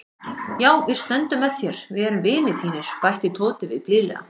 Já, við stöndum með þér, við erum vinir þínir bætti Tóti við blíðlega.